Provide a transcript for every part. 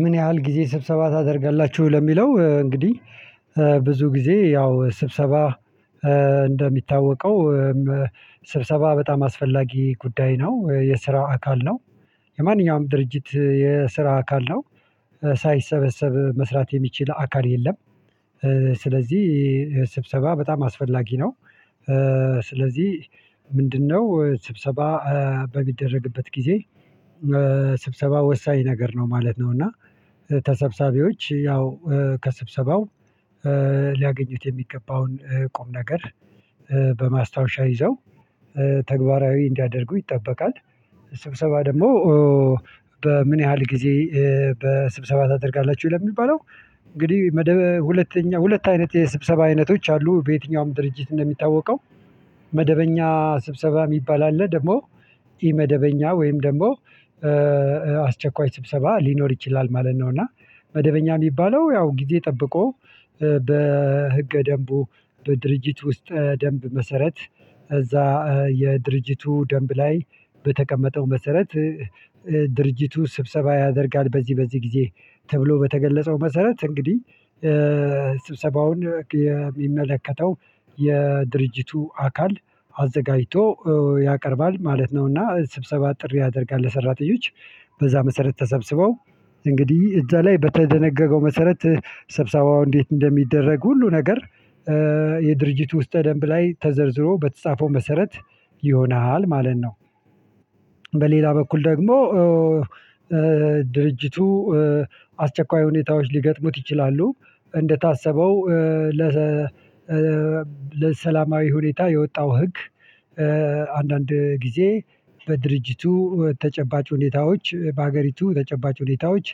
ምን ያህል ጊዜ ስብሰባ ታደርጋላችሁ? ለሚለው እንግዲህ ብዙ ጊዜ ያው ስብሰባ እንደሚታወቀው ስብሰባ በጣም አስፈላጊ ጉዳይ ነው የስራ አካል ነው የማንኛውም ድርጅት የስራ አካል ነው ሳይሰበሰብ መስራት የሚችል አካል የለም ስለዚህ ስብሰባ በጣም አስፈላጊ ነው። ስለዚህ ምንድነው ስብሰባ በሚደረግበት ጊዜ ስብሰባ ወሳኝ ነገር ነው ማለት ነው። እና ተሰብሰቢዎች ያው ከስብሰባው ሊያገኙት የሚገባውን ቁም ነገር በማስታወሻ ይዘው ተግባራዊ እንዲያደርጉ ይጠበቃል። ስብሰባ ደግሞ በምን ያህል ጊዜ በስብሰባ ታደርጋላችሁ ለሚባለው? እንግዲህ መደብ ሁለተኛ ሁለት አይነት የስብሰባ አይነቶች አሉ በየትኛውም ድርጅት እንደሚታወቀው መደበኛ ስብሰባ የሚባል አለ ደግሞ ኢመደበኛ ወይም ደግሞ አስቸኳይ ስብሰባ ሊኖር ይችላል ማለት ነው። እና መደበኛ የሚባለው ያው ጊዜ ጠብቆ በህገ ደንቡ በድርጅት ውስጥ ደንብ መሰረት እዛ የድርጅቱ ደንብ ላይ በተቀመጠው መሰረት ድርጅቱ ስብሰባ ያደርጋል በዚህ በዚህ ጊዜ ተብሎ በተገለጸው መሰረት እንግዲህ ስብሰባውን የሚመለከተው የድርጅቱ አካል አዘጋጅቶ ያቀርባል ማለት ነውና። ስብሰባ ጥሪ ያደርጋል ለሰራተኞች በዛ መሰረት ተሰብስበው እንግዲህ እዛ ላይ በተደነገገው መሰረት ሰብሰባው እንዴት እንደሚደረግ ሁሉ ነገር የድርጅቱ ውስጠ ደንብ ላይ ተዘርዝሮ በተጻፈው መሰረት ይሆናል ማለት ነው። በሌላ በኩል ደግሞ ድርጅቱ አስቸኳይ ሁኔታዎች ሊገጥሙት ይችላሉ እንደታሰበው ለሰላማዊ ሁኔታ የወጣው ህግ አንዳንድ ጊዜ በድርጅቱ ተጨባጭ ሁኔታዎች በአገሪቱ ተጨባጭ ሁኔታዎች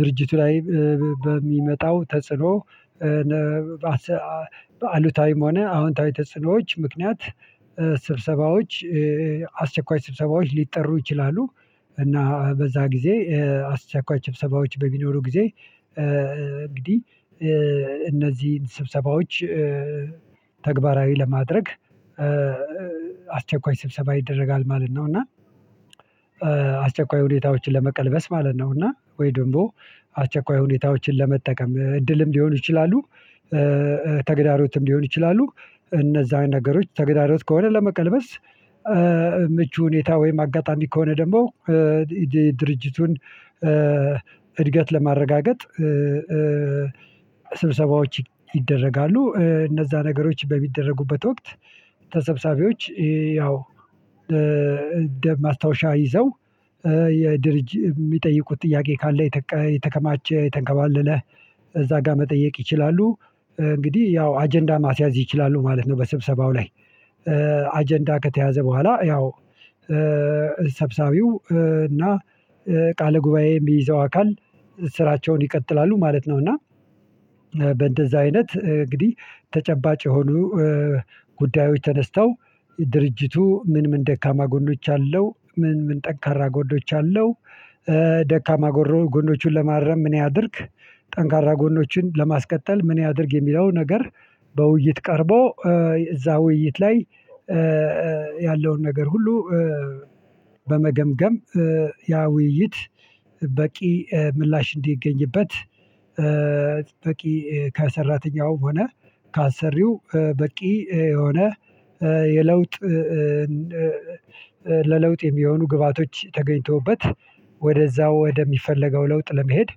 ድርጅቱ ላይ በሚመጣው ተጽዕኖ አሉታዊም ሆነ አዎንታዊ ተጽዕኖዎች ምክንያት ስብሰባዎች አስቸኳይ ስብሰባዎች ሊጠሩ ይችላሉ። እና በዛ ጊዜ አስቸኳይ ስብሰባዎች በሚኖሩ ጊዜ እንግዲህ እነዚህን ስብሰባዎች ተግባራዊ ለማድረግ አስቸኳይ ስብሰባ ይደረጋል ማለት ነው። እና አስቸኳይ ሁኔታዎችን ለመቀልበስ ማለት ነው እና ወይ ደግሞ አስቸኳይ ሁኔታዎችን ለመጠቀም እድልም ሊሆኑ ይችላሉ ተግዳሮትም ሊሆኑ ይችላሉ። እነዛን ነገሮች ተግዳዶት ከሆነ ለመቀልበስ ምቹ ሁኔታ ወይም አጋጣሚ ከሆነ ደግሞ ድርጅቱን እድገት ለማረጋገጥ ስብሰባዎች ይደረጋሉ። እነዛ ነገሮች በሚደረጉበት ወቅት ተሰብሰቢዎች ያው እንደ ማስታወሻ ይዘው የድርጅት የሚጠይቁት ጥያቄ ካለ የተከማቸ የተንከባለለ እዛ ጋር መጠየቅ ይችላሉ እንግዲህ ያው አጀንዳ ማስያዝ ይችላሉ ማለት ነው። በስብሰባው ላይ አጀንዳ ከተያዘ በኋላ ያው ሰብሳቢው እና ቃለ ጉባኤ የሚይዘው አካል ስራቸውን ይቀጥላሉ ማለት ነው። እና በእንደዛ አይነት እንግዲህ ተጨባጭ የሆኑ ጉዳዮች ተነስተው ድርጅቱ ምን ምን ደካማ ጎኖች አለው ምን ምን ጠንካራ ጎኖች አለው? ደካማ ጎኖቹን ለማረም እኔ ያድርግ ጠንካራ ጎኖችን ለማስቀጠል ምን ያድርግ የሚለው ነገር በውይይት ቀርቦ እዛ ውይይት ላይ ያለውን ነገር ሁሉ በመገምገም ያ ውይይት በቂ ምላሽ እንዲገኝበት በቂ ከሰራተኛው ሆነ ካሰሪው በቂ የሆነ የለውጥ ለለውጥ የሚሆኑ ግብአቶች ተገኝተውበት ወደዛው ወደሚፈለገው ለውጥ ለመሄድ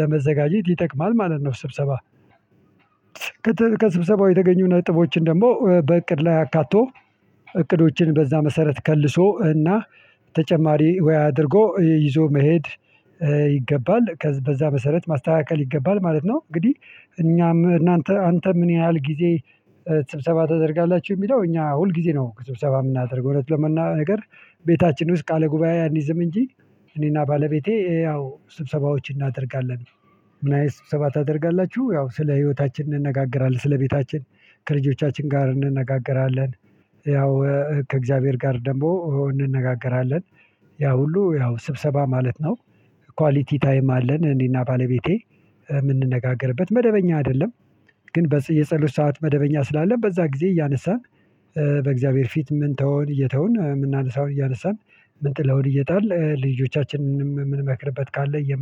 ለመዘጋጀት ይጠቅማል። ማለት ነው ከስብሰባው የተገኙ ነጥቦችን ደግሞ በእቅድ ላይ አካቶ እቅዶችን በዛ መሰረት ከልሶ እና ተጨማሪ ወይ አድርጎ ይዞ መሄድ ይገባል በዛ መሰረት ማስተካከል ይገባል ማለት ነው። እንግዲህ እኛም እናንተ አንተ ምን ያህል ጊዜ ስብሰባ ታደርጋላችሁ? የሚለው እኛ ሁል ጊዜ ነው ስብሰባ የምናደርገው እውነት ለመናገር ቤታችን ውስጥ ቃለ ጉባኤ አንይዝም እንጂ እኔና ባለቤቴ ያው ስብሰባዎችን እናደርጋለን። ምን አይነት ስብሰባ ታደርጋላችሁ? ያው ስለ ህይወታችን እንነጋገራለን ስለ ቤታችን ከልጆቻችን ጋር እንነጋገራለን ያው ከእግዚአብሔር ጋር ደግሞ እንነጋገራለን ያ ሁሉ ያው ስብሰባ ማለት ነው። ኳሊቲ ታይም አለን እኔና ባለቤቴ የምንነጋገርበት መደበኛ አይደለም። ግን የጸሎት ሰዓት መደበኛ ስላለ በዛ ጊዜ እያነሳን በእግዚአብሔር ፊት ምን ተወውን እየተውን የምናነሳውን እያነሳን የምንጥለውን እየጣልን ልጆቻችንንም የምንመክርበት ካለ እየመከርን